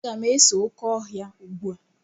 Aga m ese oké ọhịa ugbu a.